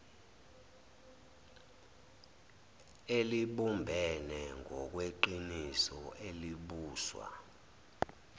elibumbene ngokweqiniso elibuswa